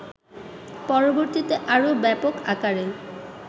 পরবর্তীতে আরও ব্যাপক আকারে